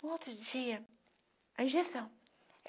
No outro dia, a injeção.